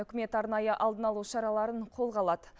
үкімет арнайы алдын алу шараларын қолға алады